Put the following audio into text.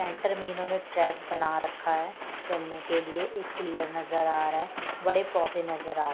centre में इन्होंने track बना रखा हैचलने के लिए एक पिलर नजर आ रहा है बड़े पौधे नजर आ--